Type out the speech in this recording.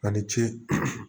A ni ce